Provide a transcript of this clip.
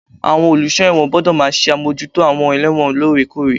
Àwọn olùsọ ẹ̀wọ̀n gbọ́dọ̀ máa ṣe àmójútó àwọn ẹlẹ́wọ̀n lórè kórè.